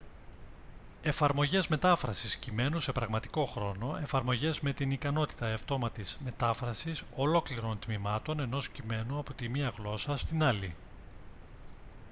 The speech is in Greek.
εφαρμογές μετάφρασης κειμένου σε πραγματικό χρόνο εφαρμογές με την ικανότητα αυτόματης μετάφρασης ολόκληρων τμημάτων ενός κειμένου από τη μία γλώσσα στην άλλη